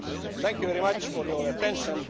Thank you very much for your attention.